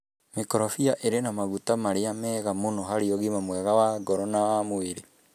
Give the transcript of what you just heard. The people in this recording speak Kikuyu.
Mĩkorobea ĩrĩ na maguta marĩa mega mũno harĩ ũgima mwega wa ngoro na wa mwĩrĩ.